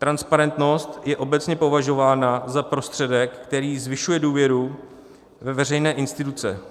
Transparentnost je obecně považována za prostředek, který zvyšuje důvěru ve veřejné instituce.